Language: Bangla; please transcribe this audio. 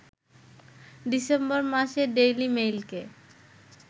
ডিসেম্বর মাসে ডেইলি মেইলকে